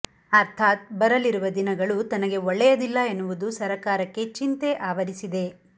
ಅರ್ಥಾತ್ ಬರಲಿರುವ ದಿನಗಳು ತನಗೆ ಒಳ್ಳೆಯದಿಲ್ಲ ಎನ್ನುವುದು ಸರಕಾರಕ್ಕೆ ಚಿಂತೆ ಆವರಿಸಿದೆ